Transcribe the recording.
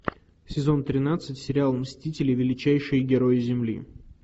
сезон тринадцать сериал мстители величайшие герои земли